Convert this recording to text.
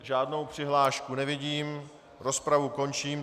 Žádnou přihlášku nevidím, rozpravu končím.